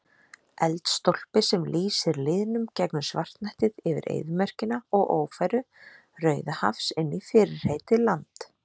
Eldstólpi sem lýsir lýðnum gegnum svartnættið yfir eyðimörkina og ófæru Rauðahafs inní fyrirheitið land